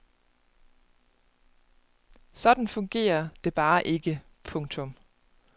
Sådan fungerer det bare ikke. punktum